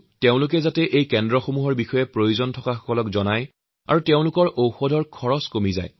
মন কী বাত অনুষ্ঠানৰ শ্ৰোতাসকলৰ প্ৰতি মোৰ অনুৰোধ দুখীয়া লোকসকলক জনঔষধি কেন্দ্ৰৰ কথা জনাই দিয়ক তেওঁলোকৰ ঔষুধৰ খৰচ বহুত কমি যাব